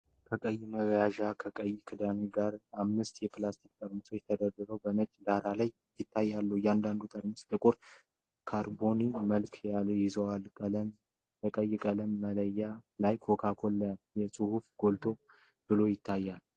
ከቀይ መያዣና ከቀይ ክዳን ጋር በአምስት የፕላስቲክ ጠርሙሶች ተደርድረው በነጭ ዳራ ላይ ይታያሉ። እያንዳንዱ ጠርሙስ ጥቁር ካርቦናዊ መጠጥ ይዟል፤ በቀይ ቀለማማ መለያ ላይ የ"Coca-Cola" ጽሑፍ ጎላ ብሎ ይታያል።